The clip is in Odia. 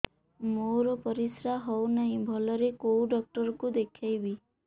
ମୋର ପରିଶ୍ରା ହଉନାହିଁ ଭଲରେ କୋଉ ଡକ୍ଟର କୁ ଦେଖେଇବି